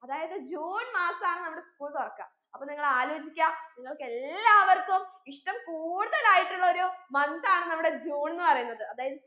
അതായത് ജൂൺ മാസാണ് നമ്മുടെ school തുറക്ക അപ്പൊ നിങ്ങൾ ആലോചിക്ക നിങ്ങൾക്കെല്ലാവർക്കും ഇഷ്ട്ടം കൂടുതലായിട്ടുള്ള ഒരു month ആണ് നമ്മുടെ ജൂൺന്ന് പറയുന്നത് അതായത്